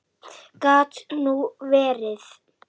Gat nú verið!